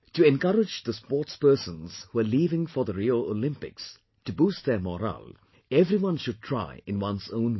To encourage the sportspersons who are leaving for the Rio Olympics, to boost their morale, everyone should try in one's own way